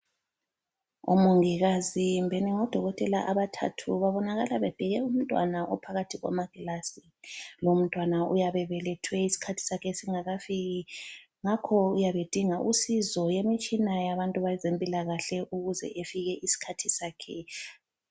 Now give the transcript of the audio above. Omongikazi kumbeni ngodokotela abathathu babonakala bebheke umntwana ophakathi kwamagilazi. Lomntwana uyabe ebelethwe isikhathi sakhe singakafiki. Ngakho uyabe edinga usizo lwemitshina yabantu bezempilakahle ukuze efike isikhathi sakhe.